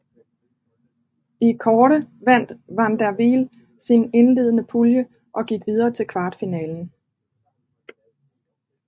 I kårde vandt van der Wiel sin indledende pulje og gik videre til kvartfinalen